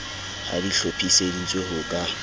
ha di hlophiseditswe ho ka